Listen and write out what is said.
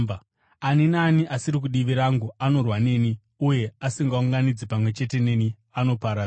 “Ani naani asiri kudivi rangu anorwa neni, uye asingaunganidzi pamwe chete neni, anoparadzira.